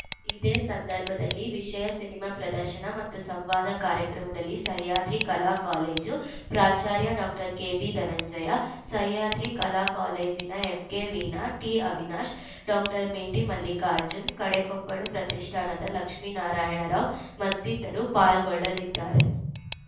ಇದೇ ಸಂದರ್ಭದಲ್ಲಿ ವಿಶೇಯ ಸಿನಿಮಾ ಪ್ರದಶನ ಮತ್ತು ಸಂವಾದ ಕಾರ್ಯಕ್ರಮದಲ್ಲಿ ಸಹ್ಯಾದ್ರಿ ಕಲಾ ಕಾಲೇಜು ಪ್ರಾಚಾರ್ಯ ಡಾಕ್ಟರ್ ಕೆಬಿ ಧನಂಜಯ ಸಹ್ಯಾದ್ರಿ ಕಲಾ ಕಾಲೇಜಿನ ಎಂಕೆ ವೀಣಾ ಟಿಅವಿನಾಶ್‌ ಡಾಕ್ಟರ್ ಮೇಟಿ ಮಲ್ಲಿಕಾರ್ಜುನ್‌ ಕಡೆಕೊಪ್ಪಲು ಪ್ರತಿಷ್ಠಾನದ ಲಕ್ಷ್ಮೇನಾರಾಯಣ ರಾವ್‌ ಮತ್ತಿತರರು ಪಾಲ್ಗೊಳ್ಳಲಿದ್ದಾರೆ